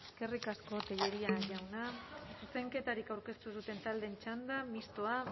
eskerrik asko tellería jauna zuzenketarik aurkeztu duten taldeen txanda mistoa